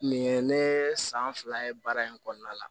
Nin ye ne san fila ye baara in kɔnɔna la